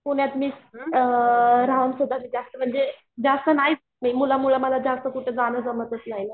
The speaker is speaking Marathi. पुण्यातली अअ म्हणजे जास्त माहित नाही मुलामुळे मला कुठे जण जास्त जमतच नाही ना